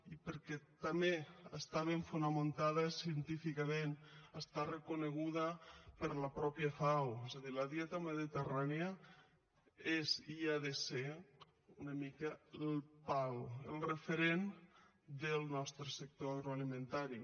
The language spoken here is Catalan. i perquè també està ben fonamentada científicament està reconeguda per la mateixa fao és a dir la dieta mediterrània és i ha de ser una mica el pal el referent del nostre sector agroalimentari